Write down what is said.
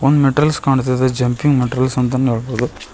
ಒಂದ್ ಮೆಟೀರಿಯಲ್ಸ್ ಕಾಣಿಸ್ತಿದೆ jumping materials ಅಂತಾನೆ ಹೇಳಬಹುದು.